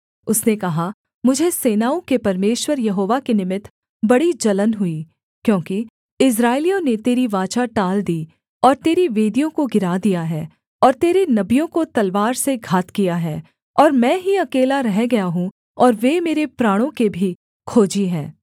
उसने कहा मुझे सेनाओं के परमेश्वर यहोवा के निमित्त बड़ी जलन हुई क्योंकि इस्राएलियों ने तेरी वाचा टाल दी और तेरी वेदियों को गिरा दिया है और तेरे नबियों को तलवार से घात किया है और मैं ही अकेला रह गया हूँ और वे मेरे प्राणों के भी खोजी हैं